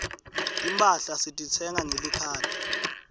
timphahla sititsenga ngelikhadi